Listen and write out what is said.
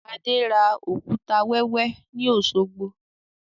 Adé ra òkúta wẹ́wẹ́ ni Osogbo